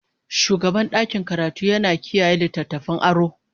shugaban ɗakin karatu yana kiyaye littattafan aro.